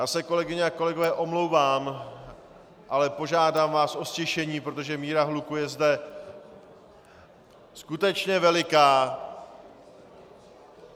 Já se, kolegyně a kolegové omlouvám, ale požádám vás o ztišení, protože míra hluku je zde skutečně veliká.